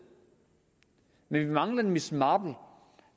men vi mangler en miss marple